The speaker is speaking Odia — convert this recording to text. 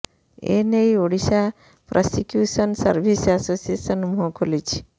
ଏ ନେଇ ଓଡ଼ିଶା ପ୍ରସିକ୍ୟୁସନ୍ ସର୍ଭିସ୍ ଆସୋସିଏସନ୍ ମୁହଁ ଖୋଲିଛି